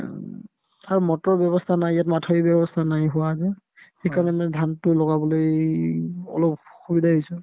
আৰু মটৰৰ ব্যৱস্থা নাই ইয়াত মথাউৰিৰ ব্যৱস্থা নাই হোৱা যে সেইকাৰণে মানে ধানতো লগাবলৈ অলপ অসুবিধাই হৈছে